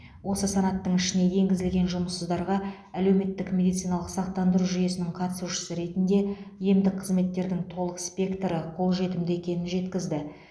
осы санаттың ішіне енгізілген жұмыссыздарға әлеуметтік медициналық сақтандыру жүйесінің қатысушысы ретінде емдік қызметтердің толық спектрі қолжетімді екенін жеткізді